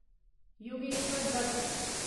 Yogeshwar Dutt